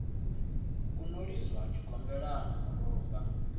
u no lidzwa tshigombelani murumba